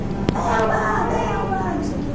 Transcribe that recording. Aí o cara, Delba, Delba, não sei o quê.